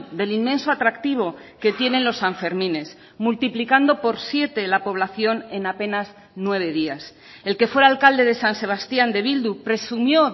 del inmenso atractivo que tienen los sanfermines multiplicando por siete la población en apenas nueve días el que fuera alcalde de san sebastián de bildu presumió